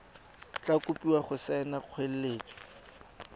tla kopiwa go saena kgoeletso